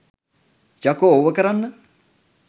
යකෝ ඔවා කරන්න